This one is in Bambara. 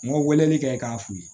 N ko weleli kɛ k'an fe yen